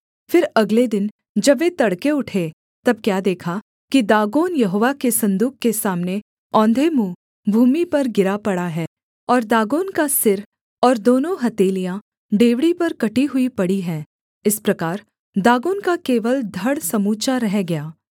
फिर अगले दिन जब वे तड़के उठे तब क्या देखा कि दागोन यहोवा के सन्दूक के सामने औंधे मुँह भूमि पर गिरा पड़ा है और दागोन का सिर और दोनों हथेलियाँ डेवढ़ी पर कटी हुई पड़ी हैं इस प्रकार दागोन का केवल धड़ समूचा रह गया